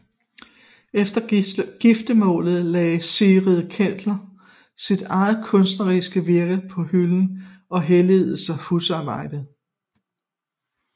Efter giftermålet lagde Sigrid Kähler sit eget kunstneriske virke på hylden og helligede sig husarbejdet